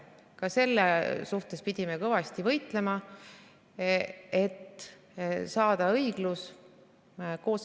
Ka selle vastu pidime kõvasti võitlema, et saavutada õiglus.